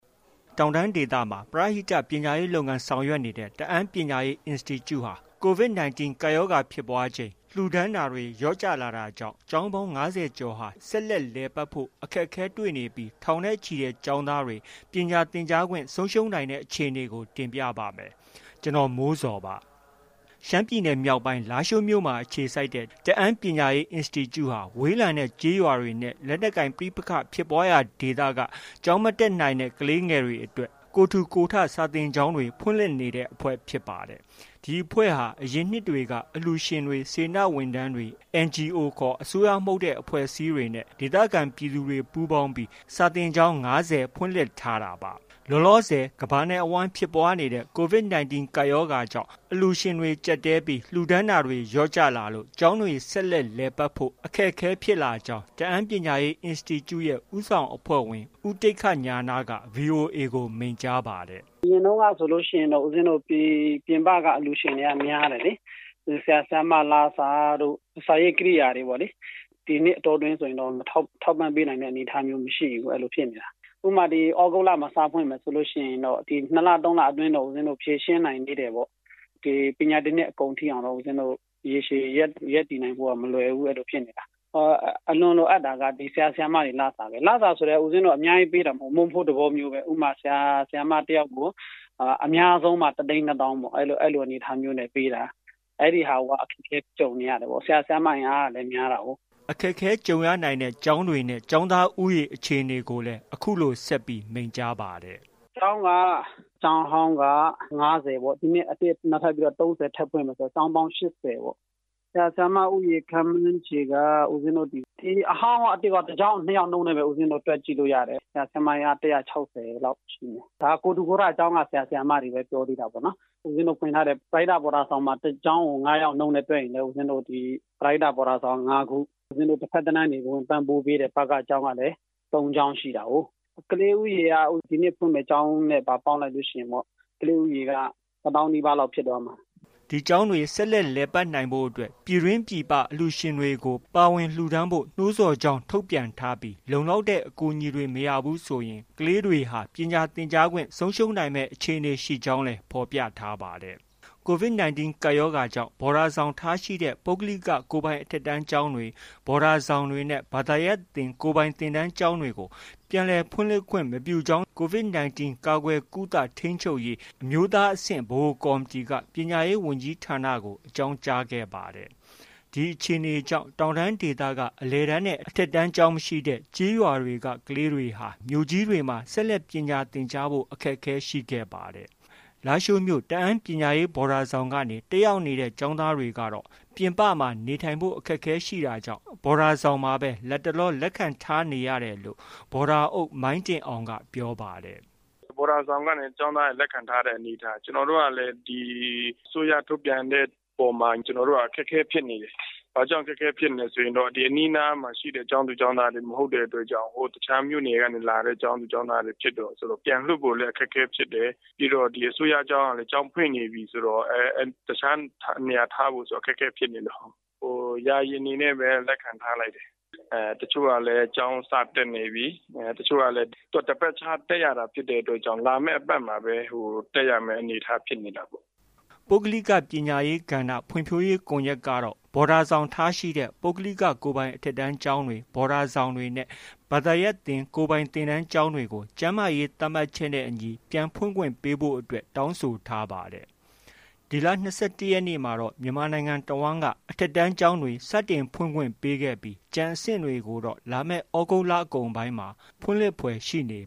တောင်တန်းဒေသမှာ ပရဟိတ ပညာရေးလုပ်ငန်း ဆောင်ရွက်နေတဲ့ တအာင်းပညာရေးအင်စတီကျူ့ဟာ COVID-19 ကပ်ရောဂါဖြစ်ပွားချိန် လှူဒါန်းတာတွေ လျော့ကျလာတာကြောင့် ကျောင်းပေါင်း ၅၀ကျော်ဟာ ဆက်လက် လည်ပတ်ဖို့ အခက်အခဲတွေနေပြီး ထောင်နဲ့ချီတဲ့ ကျောင်းသားတွေ ပညာသင်ကြားခွင့် ဆုံးရှုံးနိုင်တဲ့အခြေအနေကို ကိုမိုးဇော် တင်ပြပါမယ်။ ရှမ်းပြည်နယ်မြောက်ပိုင်း လားရှိုးမြို့မှာ အခြေစိုက်ထားတဲ့ တအာင်းပညာရေးအင်စတီကျူ့ ဟာ ဝေးလံတဲ့ကျေးရွာတွေနဲ့ လက်နက်ကိုင်ပဋိပက္ခဖြစ်ပွားရာဒေသတွေက ကျောင်းမတက်နိုင်တဲ့ ကလေးငယ်တွေအတွက် ကိုယ်ထူကိုယ်ထ စာသင်ကျောင်းတွေ ဖွင့်လှစ်နေတဲ့ အဖွဲ့ ဖြစ်ပါတယ်။ ဒီအဖွဲ့ဟာ အရင်နှစ်တွေက အလှူရှင်တွေ၊ စေတနာဝန်ထမ်းတွေ၊ NGO ခေါ် အစိုးရမဟုတ်တဲ့ အဖွဲ့အစည်းတွေနဲ့ ဒေသခံပြည်သူတွေ ပူးပေါင်းပြီး စာသင်ကျောင်း ၅၀ ဖွင့်လှစ်ထားတာပါ။ လောလောဆည် ကမ္ဘာနဲ့ အဝှမ်းဖြစ်ပွားနေတဲ့ COVID-19 ကပ်ရောဂါကြောင့် အလှူရှင်တွေ ကျပ်တည်းလာတာကြောင့် ကျောင်းတွေ ဆက်လက် လည်ပတ်ဖို့ အခက်အခဲဖြစ်လာကြောင်း တအာင်းပညာရေး အင်စတီကျူ့ ရဲ့ ဦးဆောင် အဖွဲ့ဝင် ဦးတိက္ခဉာဏက VOA ကို မိန့်ကြားပါတယ်။ “ အရင်တုန်းကဆိုရင်တော့ဦးပဉ္ဖင်းတို့ ပြင်ပက အလှူရှင်တွေက များတယ်လေ။ ဒီ ဆရာ၊ ဆရာမ လစာတို့ ၊ စာရေးကရိယာတွေပေါ့လေ။ ဒီနှစ်အတောအတွင်းဆိုရင်တော့ ထောက်ပံ့ပေးနိုင်တဲ့အနေအထားမျိုးမရှိဘူးလေ။ အဲလိုဖြစ်နေတာ။ ဥပမာ- သြဂုတ်လမှာ စဖွင့်မယ် ဆိုရင်တော့ ဒီ ၂လ၊ ၃လအတွင်းတော့ ဖြေရှင်းနိုင်သေးတယ်။ ပညာသင်နှစ်အကုန်ထိ ရေရှည်ရပ်တည်နိုင်ဖို့က မလွယ်ဘူး အဲလိုဖြစ်နေတာ။ အလွန်လိုအပ်တာက ဆရာ၊ ဆရာမတွေ လစာပဲ။ လစာဆိုလည်း ဦးပဉ္ဖင်းတို့ အများကြီးပေးတာမဟုတ်ဘူး။ မုန့်ဖိုးသဘောမျိုးပဲ ဥပမာ- ဆရာ၊ ဆရာမ တစ်ယောက်ကို အများဆုံးမှ တစ်သိန်း နှစ်သောင်း အဲလိုအနေအထားမျိုးနဲ့ ပေးတာ။ အဲဒီဟာကို အခက်အခဲကြုံနေရတယ်ပေါ့။ ဆရာ၊ ဆရာမ အင်အားကလည်း များတာကိုး။” အခက်အခဲကြုံရနိုင်တဲ့ ကျောင်းတွေနဲ့ ကျောင်းသား ဦးရေ အခြေအနေကိုလည်း အခုလို ဆက်ပြီး မိန့်ကြားပါတယ်။ “ ကျောင်းက ကျောင်းဟောင်းက ၅၀ပေါ့။ ဒီနှစ် အသစ်နောက်ထပ် ၃၀ထပ်ဖွင့်မယ် ဆိုတော့ ကျောင်းက ၈၀။ ဆရာ၊ ဆရာမ ဦးရေ ခန့်မှန်းခြေက အဟောင်းရော အသစ်ရော တစ်ကျောင်းကို နှစ်ယောက်နှုန်းနဲ့ပဲ တွက် ကြည့်လို့ ရတယ်။ ဆရာ၊ ဆရာမ အင်အား ၁၆၀လောက်ရှိမယ်။ ဒါကိုယ်ထူကိုယ်ထ ကျောင်းက ဆရာ၊ ဆရာမတွေပဲ ပြောသေးတာပေါ့။ ဦးပဉ္ဖင်းတို့ ဖွင့်ထားတဲ့ ပရဟိတ ဘော်ဒါဆောင်က တစ်ကျောင်းကို ၅ယောက်နှုန်းနဲ့ တွက်ရင်ပဲ ပရဟိတဘော်ဒါဆောင်က ၅ခု။ ဦးပဉ္ဖင်းတို့ တစ်ဘက်တလမ်းကနေ ပံ့ပိုးပေးတဲ့ ဘက ကျောင်းကလည်း ၃ခုရှိတာကိုး။ ကလေးဦးရေက ဒီနှစ်ဖွင့်မယ့် ကျောင်းနဲ့ပါ ပေါင်းလိုက်လို့ရှိရင် ကလေးဦးရေက တစ်သောင်းနီးပါးလောက် ဖြစ်သွားမှာ။” ဒီကျောင်းတွေ ဆက်လက် လည်ပတ်နိုင်ဖို့အတွက် ပြည်တွင်း၊ ပြည်ပ အလှူရှင်တွေကို ပါဝင် လှူဒါန်းဖို့ နှိုးဆော်ပြန်ကြားကြောင်း ထုတ်ပြန်ထားပြီး လုံလောက်တဲ့ အကူအညီတွေ မရဘူးဆိုရင် ကလေးတွေဟာ ပညာသင်ကြားခွင့် ဆုံးရှုံးမယ်အခြေအနေရှိကြောင်းလည်း ဖော်ပြထားပါတယ်။ COVID-19 ကပ်ရောဂါကြောင့် ဘော်ဒါဆောင်ထားရှိတဲ့ ပုဂ္ဂလိက ကိုယ်ပိုင်အထက်တန်းကျောင်းတွေ၊ ဘော်ဒါဆောင်တွေနဲ့ ဘာသာရပ်သင်ကိုယ်ပိုင်သင်တန်းကျောင်းတွေကို ပြန်လည်ဖွင့်လှစ်ခွင့် မပြုကြောင်း COVID-19 ကာကွယ်၊ ကုသ၊ ထိန်းချုပ်ရေး အမျိုးသားအဆင့်ဗဟိုကော်မတီက ပညာရေးဝန်ကြီးဌာနကို အကြောင်းကြားခဲ့ပါတယ်။ ဒီအခြေအနေကြောင့် တောင်တန်းဒေသက အလယ်တန်းနဲ့ အထက်တန်းကျောင်းမရှိတဲ့ ကျေးရွာတွေက ကလေးတွေဟာ မြို့ကြီးတွေမှာ ဆက်လက်ပညာသင်ကြားဖို့ အခက်အခဲရှိခဲ့ပါတယ်။ လားရှိုးမြို့ တအန်းပညာရေးဘော်ဒါဆောင်ကနေ တက်ရောက်နေတဲ့ ကျောင်းသားတွေကတော့ ပြင်ပမှာ နေထိုင်ဖို့ အခက်အခဲရှိနေတာကြောင့် ဘော်ဒါဆောင်မှာပဲ လတ်တလော လက်ခံထားနေရတယ်လို့ ဘော်ဒါအုပ် မိုင်းတင်အောင်က ပြောပါတယ်။ “ ဘော်ဒါဆောင်ကနေ ကျောင်းသားတွေ လက်ခံထားတဲ့အနေအထား။ ကျနော်တို့ကလည်း ဒီ အစိုးရထုတ်ပြန်တဲ့အပေါ်မှာ အခက်အခဲဖြစ်နေတယ်။ ဘာကြောင်လဲဆိုရင်တော့ ဒီအနီးအနားမှာရှိတဲ့ ကျောင်းသူ၊ ကျောင်းသားတွေ မဟုတ်တဲ့အတွက်ကြောင့်၊ တခြားမြို့နယ်က လာတဲ့ ကျောင်းသူကျောင်းသားတွေ ဖြစ်တယ်ဆိုတော့ ပြန်လွှတ်ဖို့လည်း အခက်အခဲဖြစ်တယ်။ ပြီးတော့ ဒီ အစိုးရကျောင်းကလည်း ကျောင်းဖွင့်နေပြီဆိုတော့ တခြားနေရာထားဖို့ဆိုတာ အခက်အခဲဖြစ်နေလို့၊ ယာယီအနေနဲ့ပဲ လက်ခံထားလိုက်တယ်။ တချို့ကလည်း ကျောင်းစတက်နေပြီ။ တချို့ကလည်း သူက တစ်ပတ်ခြားတက်ရတာ ဖြစ်တဲ့အတွက်ကြောင့် နောက် တစ်ပတ်မှပဲ တက်ရတဲ့အနေအထားဖြစ်နေတာပေါ့။” ပုဂ္ဂလိက ပညာရေး ကဏ္ဍဖွံ့ဖြိုးရေးကွန်ရက်ကတော့ ဘော်ဒါဆောင်ထားရှိတဲ့ ပုဂ္ဂလိက ကိုယ်ပိုင် အထက်တန်းကျောင်းတွေ၊ ဘော်ဒါဆောင်တွေနဲ့ ဘာသာရပ်သင်ကိုယ်ပိုင်သင်တန်းကျောင်းတွေကို ကျန်းမာရေးသတ်မှတ်ချက်နဲ့အညီ ပြန်ဖွင့်ခွင့်ပေးဖို့ အတွက် တောင်းဆိုထားပါတယ်။ ဒီလ ၂၁ရက်နေ့မှာတော့ မြန်မာနိုင်ငံတဝှမ်းက အထက်တန်းကျောင်းတွေ စတင်ဖွင့်ခွင့်ပေးခဲ့ပြီး ကျန်အဆင့်တွေကိုတော့ လာမယ် သြဂုတ်လ အကုန်ပိုင်းလောက်မှ ဖွင့်လှစ်ဖွယ် ရှိနေ